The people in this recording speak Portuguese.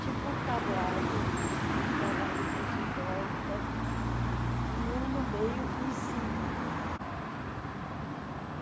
tipo um tablado, com os bailarinos em volta, e um no meio e em cima.